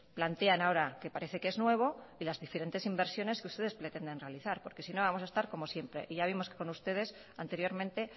plantean ahora que parece que es nuevo y las diferentes inversiones que ustedes pretenden realizar porque si no vamos a estar como siempre y ya vimos que con ustedes anteriormente